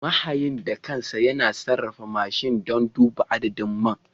Mahayin da kansa yana sarrafa mashin don duba adadin man.